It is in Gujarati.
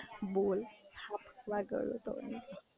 બોલ, વ ગયો તો.